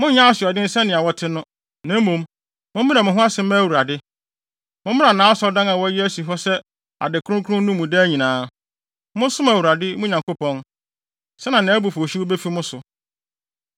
Monnyɛ asoɔden sɛnea na wɔte no, na mmom, mommrɛ mo ho ase mma Awurade. Mommra nʼAsɔredan a wɔayi asi hɔ sɛ ade kronkron no mu daa nyinaa. Monsom Awurade, mo Nyankopɔn, sɛnea nʼabufuwhyew no befi mo so.